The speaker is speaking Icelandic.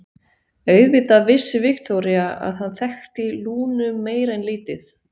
Auðvitað vissi Viktoría að hann þekkti Lúnu meira en lítið.